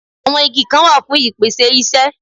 Àwọn Igi Kan wà fún ìpèsè isẹ́